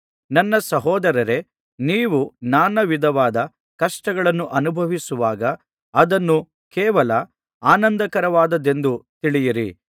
ನನ್ನ ಸಹೋದರರೇ ನೀವು ನಾನಾವಿಧವಾದ ಕಷ್ಟಗಳನ್ನು ಅನುಭವಿಸುವಾಗ ಅದನ್ನು ಕೇವಲ ಆನಂದಕರವಾದದ್ದೆಂದು ತಿಳಿಯಿರಿ